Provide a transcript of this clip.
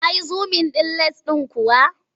Ka yi zumin ɗin lens ɗin kuwa?